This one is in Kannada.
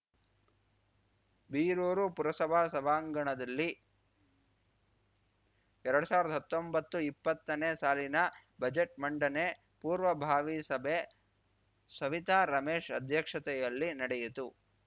ಬೀರೂರು ಪುರಸಭಾ ಸಭಾಂಗಣದಲ್ಲಿ ಎರಡ್ ಸಾವ್ರ್ದ ಹತ್ತೊಂಬತ್ತುಇಪ್ಪತ್ತನೇ ಸಾಲಿನ ಬಜೆಟ್‌ ಮಂಡನೆ ಪೂರ್ವಭಾವಿ ಸಭೆ ಸವಿತಾ ರಮೇಶ್‌ ಅಧ್ಯಕ್ಷತೆಯಲ್ಲಿ ನಡೆಯಿತು